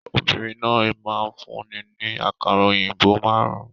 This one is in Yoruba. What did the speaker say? Obìnrin náà máa fún ni ní àkàrà òyìnbó márùn-ún.